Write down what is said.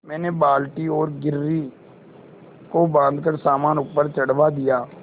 मैंने बाल्टी और घिर्री को बाँधकर सामान ऊपर चढ़वा दिया